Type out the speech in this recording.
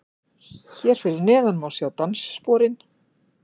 Hér fyrir neðan má sjá danssporin